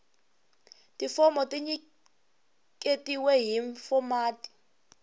tifomo ti nyiketiwa hi fomati